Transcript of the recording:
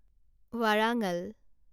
ৱাৰাঙাল